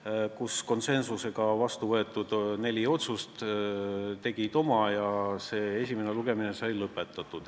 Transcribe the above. Kokku võttes tegid konsensusega vastu võetud neli otsust oma ja see esimene lugemine sai lõpetatud.